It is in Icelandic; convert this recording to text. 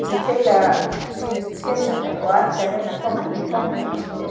Þessi tillaga sýnist skynsamleg, og ætti að reyna að koma henni í framkvæmd sem fyrst.